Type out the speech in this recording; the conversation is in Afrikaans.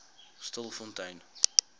stilfontein